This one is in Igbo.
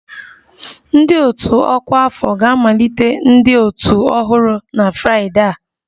Ndị otu ọkwa afọ ga-amalite ndị otu ọhụrụ na Fraịdee a